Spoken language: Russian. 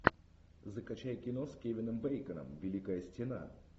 закачай кино с кевином бейконом великая стена